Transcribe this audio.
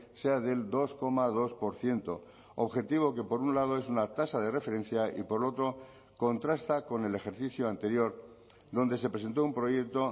sea del dos coma dos por ciento objetivo que por un lado es una tasa de referencia y por otro contrasta con el ejercicio anterior donde se presentó un proyecto